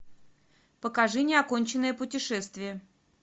покажи неоконченное путешествие